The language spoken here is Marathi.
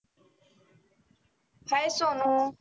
hi सोनु.